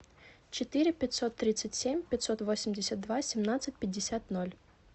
четыре пятьсот тридцать семь пятьсот восемьдесят два семнадцать пятьдесят ноль